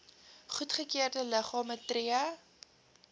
goedgekeurde liggame tree